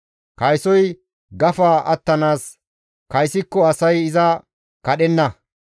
Kaysoy gafa attanaas kaysikko asay iza kadhenna.